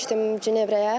Getmişdim Cenevrəyə.